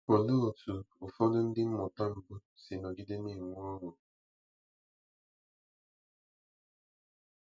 Olee otú ụfọdụ ndị mmụta mbụ si nọgide na-enwe ọṅụ?